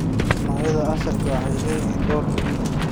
Noocyada asalka ah waxay leeyihiin door muhiim ah.